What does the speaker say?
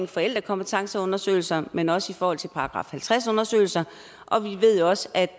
forældrekompetenceundersøgelser men også i forhold til § halvtreds undersøgelser og vi ved også at